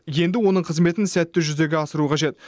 енді оның қызметін сәтті жүзеге асыру қажет